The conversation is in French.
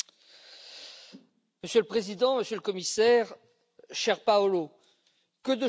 Monsieur le Président, Monsieur le Commissaire, cher Paolo, que de chemin parcouru!